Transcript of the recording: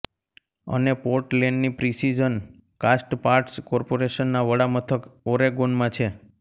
અને પોર્ટલેન્ડની precision castparts કોર્પોરેશનના વડામથક ઑરેગોનમાં છે